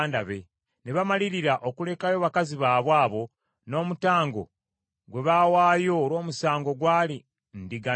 Ne bamalirira okulekayo bakazi baabwe abo, n’omutango gwe baawaayo olw’omusango gwali ndiga nnume.